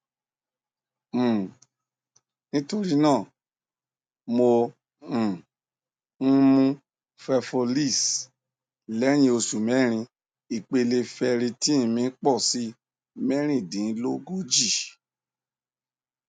um nítorí náà mò um ń mú fefolz lẹyìn oṣù mẹrin ìpele ferritin mi pọ sí mẹrìndínlógójì